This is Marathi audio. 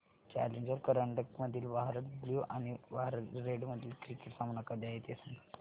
चॅलेंजर करंडक मधील भारत ब्ल्यु आणि भारत रेड मधील क्रिकेट सामना कधी आहे ते सांगा